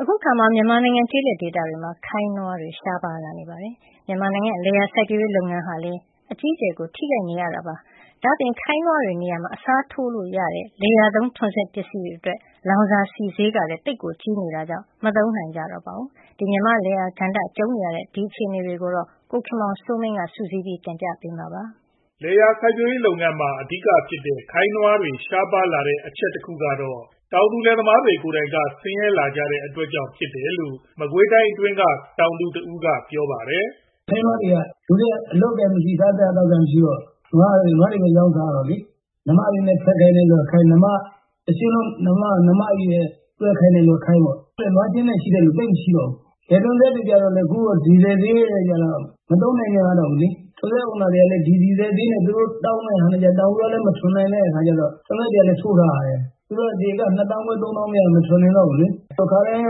အခါမှာ မြန်မာနိုင်ငံ ကျေးလက်ဒေသတွေမှာ ခိုင်းနွားတွေ ရှားပါးနေတဲ့အတွက် လယ်ယာစိုက်ပျိုးရေးလုပ်ငန်း အကြီးအကျယ် ထိခိုက်နေကြရပါတယ်။ ဒါ့အပြင် ခိုင်းနွားတွေနေရာမှာ အစားထိုးလုပ်ကိုင်လို့ရတဲ့ လယ်ယာသုံး ထွန်စက်တွေကလည်း လောင်စာဆီဈေး ကြီးမြင့်လွန်းတဲ့အတွက် အသုံးပြုနိုင်ခြင်း မရှိကြတော့ပါဘူး။ အဲဒီလိုအခြေအနေတွေကို စုစည်းပြီး ကိုခင်မောင်စိုးမင်းက တင်ပြထားပါတယ်။ လယ်ယာသုံးလုပ်ငန်းမှာ အဓိကဖြစ်ကြတဲ့ ခိုင်းနွားတွေ ရှားပါးလာကြရတဲ့ အချက်တခုကတော့ တောင်သူလယ်သမားတွေ ကိုယ်တိုင်က ဆင်းရဲလာကြတဲ့ အတွက်ကြောင့် ဖြစ်တယ်လို့ မကွေးတိုင်းအတွင်းက တောင်သူတဦးက ပြောပါတယ်။ "လူတွေက စားစရာမရှိကြတော့ နွားတွေကိုပဲ ရောင်းစားကြရတာလေ၊ နွားမတွေနဲ့တောင် တွဲခိုင်းနေကြရတယ်။ တရှဉ်းလုံး နွားမတွေနဲ့ ခိုင်းတဲ့သူက ခိုင်းပေါ့။ နွားရှဉ်းနဲ့ရှိတဲ့လူ သိပ်မရှိကြတော့ဘူး။ လယ်ထွန်စက်တွေကြတော့လည်း အခု ဒီဇယ်ဈေးနဲ့ကြတော့ မသုံးနိုင်ကြတော့ဘူးလေ။ ထွန်စက်တွေကလည်း သူတို့တောင်းမယ့်ဈေးနဲ့ကြ တောင်သူတွေက မကိုက်ကြတော့ ထွန်စက်တွေ ထိုးရပ်ထားကြရတယ်။ တဧက ၂ သောင်းခွဲ ၃ သောင်းမရရင် မထွန်နိုင်ကြတော့ဘူးလေ။ အခါတိုင်းက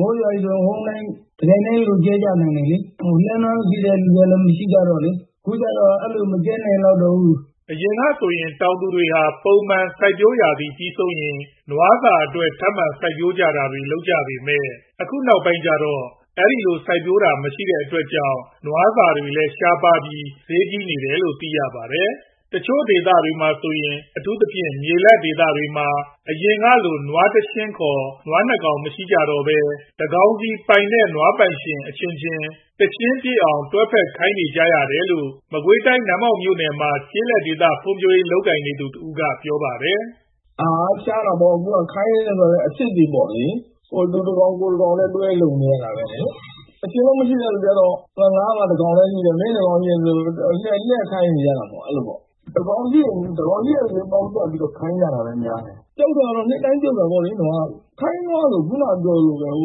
မိုးရွာပြီဆိုတော့ တခါတည်း ဝုန်းဒိုင်းနဲ့ အပြိုင်ကြဲကြတယ်။ အခုကြတော့ လှည်းနွားမရှိသူတွေကလည်း မရှိကြတော့ အဲလို မကြဲနိုင်ကြတော့ဘူး။" အရင်ကဆိုရင် တောင်သူတွေဟာ ပုံမှန်စိုက်ပျိုးရာသီပြီးဆုံးရင် နွားစာအတွက် ထပ်မံစိုက်ပျိုးတာတွေ လုပ်လေ့ရှိကြပေမယ့် အခုနောက်ပိုင်းကျ အဲဒီလို စိုက်ပျိုးကြတာ မရှိတဲ့အတွက် နွားစာတွေလည်း ရှားပါးပြီး ဈေးကြီးနေတယ်လို့ သိရပါတယ်။ တချို့ဒေသတွေမှာဆိုရင် အထူးသဖြင့် မြေလတ်ဒေသတွေမှာ အရင်ကလို နွားတရှဉ်းခေါ် နွား ၂ ကောင် မရှိကြတော့ဘဲ တကောင်စီပိုင်တဲ့ နွားပိုင်ရှင်အချင်းချင်း တရှဉ်း ၂ ကောင်ပြည့်အောင် တွဲဖက်ခိုင်းနေကြရတယ်လို့လည်း မကွေးတိုင်း နတ်မောက်မြို့မှာ ကျေးလက်ဒေသဖွံ့ဖြိုးရေးတွေ လုပ်ကိုင်နေသူတဦးက ပြောပါတယ်။ "ဟာ ရှားတာပေါ့။ အခု ခိုင်းနွားတွေကလည်း အဖြစ်တွေလေ။ သူတကောင် ကိုယ်တကောင်နဲ့ တွဲလုပ်နေကြရတာလေ။ တရှဉ်းလုံး မရှိတဲ့သူက သူ့ဘက်ကတကောင် ကိုယ့်ဘက်ကတကောင် ပေါင်းစပ်ခိုင်းနွား လုပ်ခိုင်းနေကြတာက များတယ်။ ပြုတ်တာက နှစ်တိုင်း ပြုတ်နေကြတာလေ။ ခိုင်းနွားက မရှိသလောက်ကို ဖြစ်ကုန်တာ။ လှ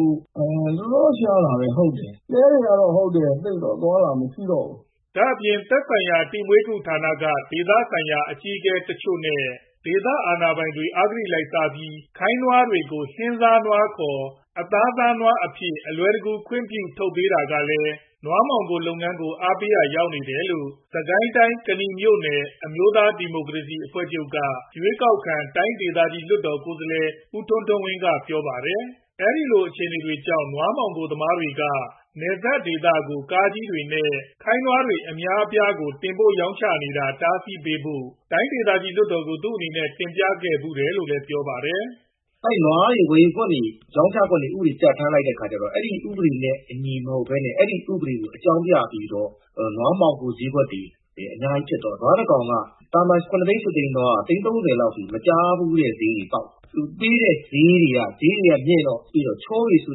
ည်းတွေလည်း အသွားသိပ်မရှိကြတော့ဘူး။" ဒါ့အပြင် သက်ဆိုင်ရာ တိ၊ မွေး၊ ကု ဌာနက ဒေသဆိုင်ရာ အကြီးအကဲတချို့နဲ့ ဒေသအာဏာပိုင်တွေက အဂတိလိုက်စားပြီး ခိုင်းနွားတွေကို ဟင်းစားနွားခေါ် အသားစားနွားအဖြစ် အလွယ်တကူ ခွင့်ပြုစာ ထုတ်ပေးတာကလည်း နွားမှောင်ခိုလုပ်ငန်းကို အားပေးရာရောက်နေတယ်လို့ စစ်ကိုင်းတိုင်း၊ ကနီမြို့နယ် အမျိုးသားဒီမိုကရေစီအဖွဲ့ချုပ်က ရွေးကောက်ခံ တိုင်းဒေသကြီး လွှတ်တော်ကိုယ်စားလှယ် ဦးထွန်းထွန်းဝင်းက ပြောပါတယ်။ အဲဒီအတွက် နွားမှောင်ခိုသမားတွေက တရုတ်နယ်စပ်ကို ကားကြီးတွေနဲ့ ခိုင်းနွားတွေ အများအပြား နေ့စဉ် တင်ပို့နေကြတာကို တားဆီးပေးဖို့ တိုင်းဒေသကြီးလွှတ်တော်ကို သူ့အနေနဲ့ တင်ပြခဲ့ဖူးတယ်လို့လည်း ပြောပါတယ်။ "နွားတွေဝယ်ခွင့် ရောင်းချခွင့်တွေ ပြဋ္ဌာန်းခဲ့ပေမယ့် အဲဒီဥပဒေနဲ့အညီ မဟုတ်ဘဲနဲ့ နွားမှောင်ခိုဈေးကွက်တွေ အများကြီး ဖြစ်သွားရော၊ နွားတကောင်က သာမန် ၇ သိန်း ၈ သိန်းကနေ သိန်း ၃ဝ လောက်အထိ မကြားဘူးတဲ့ဈေးတွေ ပေါက်သွားတယ်။ ချောပေ့ဆို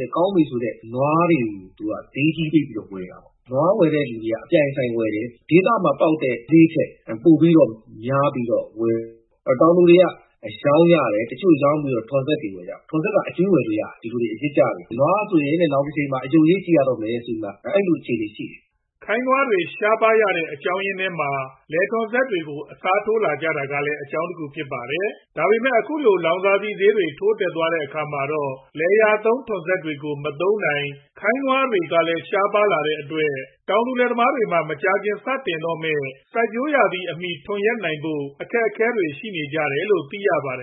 တဲ့ ကောင်းပေ့ဆိုတဲ့ နွားတွေကို ဈေးကြီးပေးပြီး ဝယ်တာပေါ့။ နွားဝယ်သူတွေက ဒေသမှာပေါက်တဲ့ဈေးထက် များပြီးတော့ ဝယ်တယ်။ တောင်သူတွေက ရောင်းကြတယ်။ တချို့ရောင်းပြီးတော့ ထွန်စက်တွေ ဝယ်ကြတယ်။ ထွန်စက်က အကြွေးဝယ်လို့ရတယ်။ အရစ်ကျနဲ့။ နွားဆိုရင်တဲ့ နောင်တချိန်မှာ အရုပ်ရေးကြည့်ရတော့မယ်တဲ့။" ခိုင်းနွားတွေ ရှားပါးသွားရတဲ့ အကြောင်းအရင်းထဲမှာ လယ်ထွန်စက်တွေကို အစားထိုးလာကြတာကလည်း အကြောင်းတခု ဖြစ်ပါတယ်။ ဒါပေမယ့် အခုလို လောင်စာဆီဈေးတွေ ထိုးတက်သွားတဲ့ အခါမှာတော့ လယ်ယာသုံး ထွန်စက်တွေကိုလည်း မသုံးနိုင်၊ ခိုင်းနွားတွေကလည်း ရှားလာတဲ့အတွက် တောင်သူလယ်သမားတွေမှာ မကြာခင် စတော့မယ့် စိုက်ပျိုးရာသီအမီ ထွန်ယက်နိုင်ဖို့ အခက်အခဲတွေ ရှိနေကြတယ်လို့ သိရပါတယ်